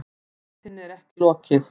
Leitinni er ekki lokið